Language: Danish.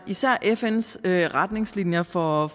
især fns retningslinjer for